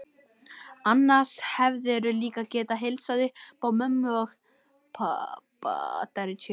Annars hefðirðu líka getað heilsað upp á mömmu og pabba.